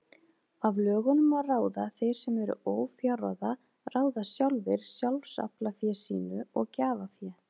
Af lögunum má ráða að þeir sem eru ófjárráða ráða sjálfir sjálfsaflafé sínu og gjafafé.